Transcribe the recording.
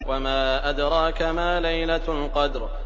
وَمَا أَدْرَاكَ مَا لَيْلَةُ الْقَدْرِ